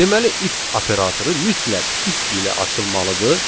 Deməli if operatoru mütləq if ilə açılmalıdır.